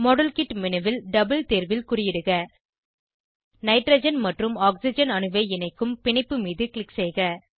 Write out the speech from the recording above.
model kit menu ல் double தேர்வில் குறியிடுக நைட்ரஜன் மற்றும் ஆக்சிஜன் அணுவை இணைக்கும் பிணைப்பு மீது க்ளிக் செய்க